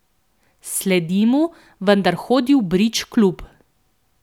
Sledim mu, vendar hodi v bridge klub.